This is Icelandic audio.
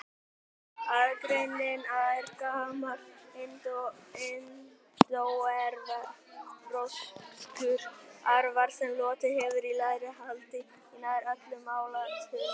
Aðgreiningin er gamall indóevrópskur arfur sem lotið hefur í lægra haldi í nær öllum málaættunum.